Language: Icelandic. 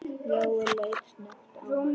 Jóel leit snöggt á hann.